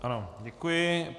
Ano, děkuji.